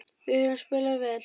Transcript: Við höfum spilað vel.